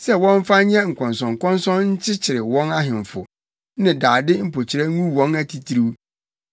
sɛ wɔmfa nyɛ nkɔnsɔnkɔnsɔn nkyekyere wɔn ahemfo, ne dade mpokyerɛ ngu wɔn atitiriw,